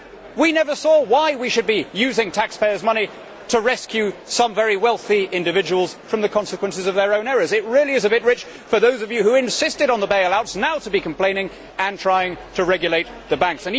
We never saw why we should be using taxpayers' money to rescue some very wealthy individuals from the consequences of their own errors. It really is a bit rich for those of you who insisted on the bail outs now to be complaining and trying to regulate the banks.